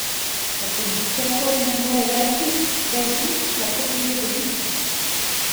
Tako nihče torej ne more reči, da iz nič lahko pride veliko.